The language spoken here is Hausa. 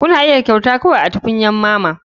Kuna iya kyauta kawai a tukunyar mama.